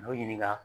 N'o ɲininka